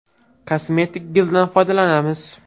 Kosmetik gildan foydalanamiz.